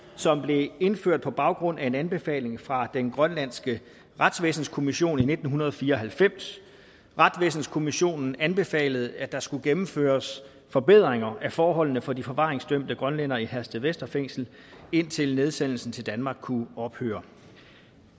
som blev indført på baggrund af en anbefaling fra den grønlandske retsvæsenskommission i nitten fire og halvfems retsvæsenskommissionen anbefalede at der skulle gennemføres forbedringer af forholdene for de forvaringsdømte grønlændere i herstedvester fængsel indtil nedsendelsen til danmark kunne ophøre